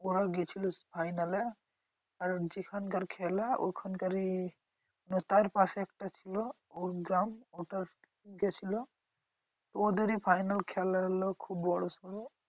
ওরা গেছিলো final এ। আর যেখানকার খেলা ওখানকারই মানে তার পাশে একটা ছিল ওর গ্রাম ওটা গেছিলো। ওদেরই final খেলা হলো খুব বড়োসড়ো।